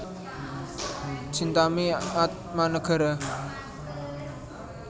Chintami Atmanegara